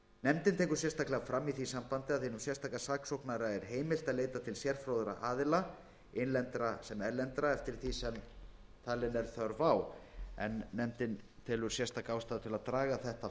nefndin tekur sérstaklega fram í því sambandi að hinum sérstaka saksóknara er heimilt að leita til sérfróðra aðila innlendra sem erlendra eftir því sem hann telur þörf á en nefndin telur sérstaklega ástæðu til að draga þetta